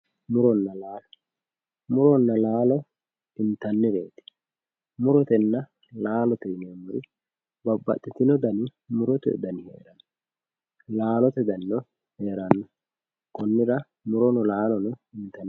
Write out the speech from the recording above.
Muronna laalo muronna laalo intannireeti murotenna laalote yineemmori babbaxxitinoti dani heeranna laalote danino heeranno konnira murono laalono intannireeti.